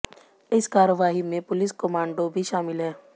इस कार्रवाई में पुलिस कमांडो भी शामिल हैं